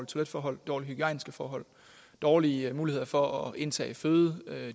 toiletforhold dårlige hygiejniske forhold dårlige muligheder for at indtage føde